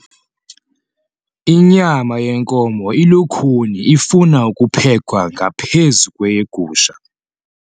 Inyama yenkomo ilukhuni ifuna ukuphekwa ngaphezu kweyegusha.